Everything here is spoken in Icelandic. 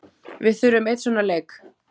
Við þurfum einn svona leik.